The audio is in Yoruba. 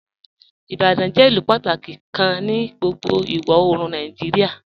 "Ibadan jẹ ilù pátàkí kàn ní gbogbo iwọ-oorùn Nàìjíríà.